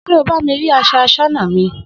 S̩e o bá mi rí as̩o̩ as̩ó̩nà mi?